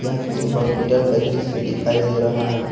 यह किसी हॉस्पिटल का दृश्य दिखाई दे रहा है।